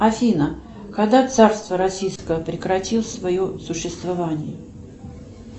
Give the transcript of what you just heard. афина когда царство российское прекратило свое существование